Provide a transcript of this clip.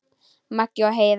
Maggi og Heiða.